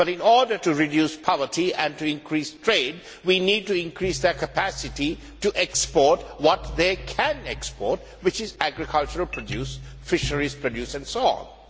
But in order to reduce poverty and to increase trade, we need to increase their capacity to export what they can export, which is agricultural produce, fisheries produce and so on.